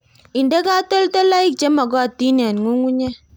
Inde katoltolik che magotin eng' ng'ung'unyek